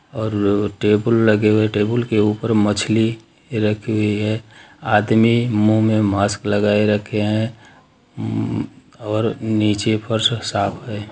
--और टेबल लगे हुए हैं टेबुल के ऊपर मछली रखी हुई है आदमी मुँह में मास्क लगाये रखे है और नीचे फर्श साफ है।